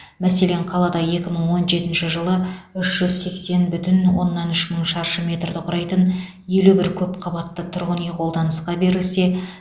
мәселен қалада екі мың он жетінші жылы үш жүз сексен бүтін оннан үш мың шаршы метрді құрайтын елу бір көп қабатты тұрғын үй қолданысқа берілсе